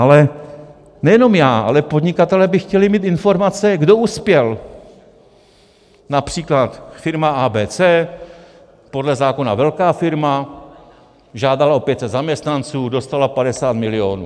Ale nejenom já, ale podnikatelé by chtěli mít informace, kdo uspěl - například firma ABC, podle zákona velká firma, žádala o 500 zaměstnanců, dostala 50 milionů.